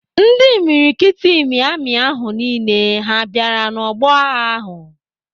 Ndị imikiriti imi amị ahụ niile ha bịara n'ọgbọ agha ahụ?